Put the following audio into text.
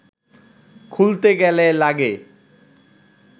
খুলতে গেলে লাগে